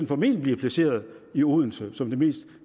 formentlig blive placeret i odense som det mest